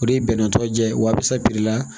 O de ye bɛnɛn tɔw jɛ ye wasapi la